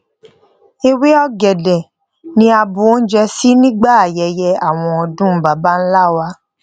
ewé ògèdè ni a bu oúnjẹ sí nígbà ayẹyẹ àwọn odun baba ńlá wa